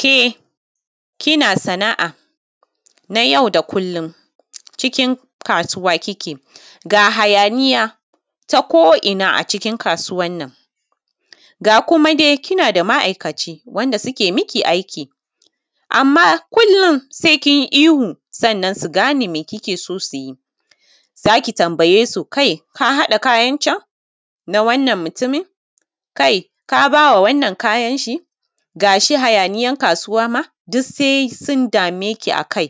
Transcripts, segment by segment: Ke kina sana’a na yau da kullum, cikin kasuwa kike ga hayaniya ta ko’ina cikin kasuwannan ga kuma dai kina da ma’aikaci wanda ke miki aiki amma kullum se sun yi iwu ki gane me kike so su yi, za ki tambaye su kai ka haɗa kayancan na wannan mutumin kai ka ba ma wannan kayan shi, gashi hayaniyan kasuwa ma duk se sun dame ki a kai,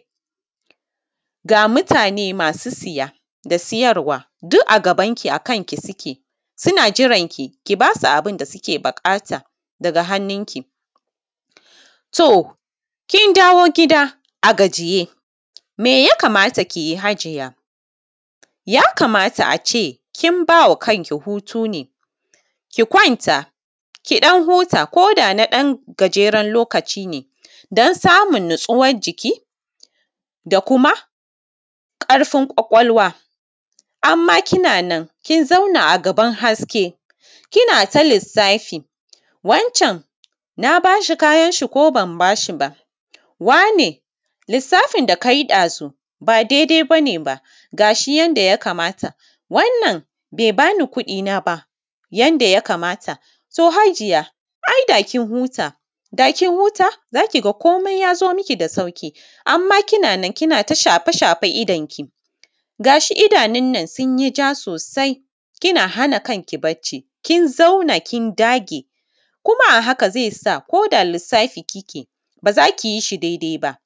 ga mutane masu siya da siyarwa duk a gabanki, a kanki suke, suna jiranki, ki ba su abin da suke buƙata daga hannunki. To, kin dawo gida a gajiye me ya kamata ki yi hajiya? Ya kamata a ce kin ba wa kanki hutu ne, ki kwanta ki ɗan huta ko da na ɗan gajeren lokaci ne dan samun natsuwan jiki da kuma ƙarfin kwakwalwa, amma kina nan kin zauna a gaban haske ina ta lissafi wancan na ba shi kayan shi ko ban ba shi ba, wane lissafin da ka yi ɗazu ba dai dai ba ne fa ga yadda ya kamata, wannan be ba ni kuɗina ba yanda ya kamata, to hajiya ai da kin huta da kin huta za ki komai ya zo miki da sauƙi. Amma kina nan kina ta shafe-shafen idon ki ga shi idanun nan sun yi ja sosai, kina hana kanki bacci kin zauna kin dage kuma a haka ze sa koda lissafi kike ba za ki yi shi daidai ba.